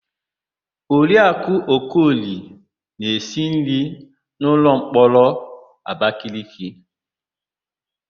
Oriakụ Okoli na-esi nri na ụlọmkọrọ Abakeleke.